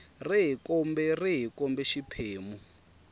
rihi kumbe rihi kumbe xiphemu